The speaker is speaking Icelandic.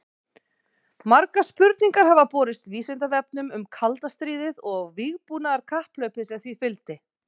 Margar spurningar hafa borist Vísindavefnum um kalda stríðið og vígbúnaðarkapphlaupið sem því fylgdi.